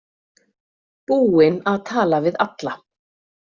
Búin að tala við alla.